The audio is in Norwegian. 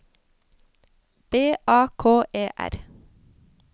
B A K E R